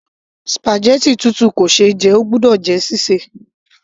spaghetti tútù kò ṣe é jẹ, óò gbọ́dọ̀ jẹ́ sí sè